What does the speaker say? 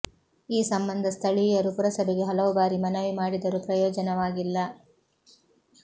ಈ ಸಂಬಂಧ ಸ್ಥಳೀ ಯರು ಪುರಸಭೆಗೆ ಹಲವು ಬಾರಿ ಮನವಿ ಮಾಡಿ ದರೂ ಪ್ರಯೋಜನವಾಗಿಲ್ಲ